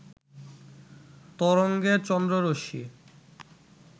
তরঙ্গে চন্দ্ররশ্মি